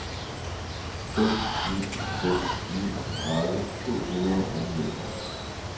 fem ni fem ni tredive to hundrede og niogtres